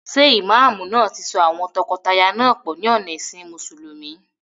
Ṣé ìmáàmù náà ti so àwọn tọkọtaya náà pọ̀ ní ọ̀nà ẹ̀sìn mùsùlùmí?